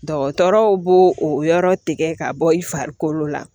Dɔgɔtɔrɔw b'o o yɔrɔ tigɛ ka bɔ i farikolo la